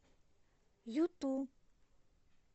юту